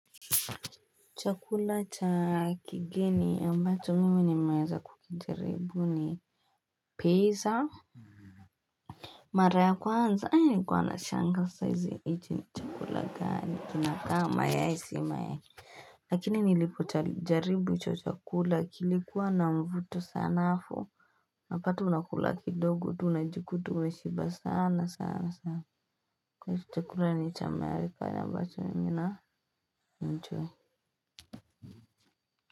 Chakula cha kigeni ambacho mimi ni meweza kukijaribu ni peza Mara kwanza nilikuwa na shangaa sasa hichi ni chakula gani kinakaa mayai si mayai Lakini nilipo jaribu hicho chakula kilikuwa na mvuto sana afu unapata unakula kidogo tu unajikuta unashiba sana sana sana chakula ni cha marifanya mbato nina enjoy.